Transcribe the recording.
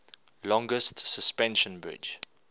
longest suspension bridge